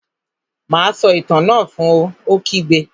Má a sọ Itàn náà fun! Ó kígbe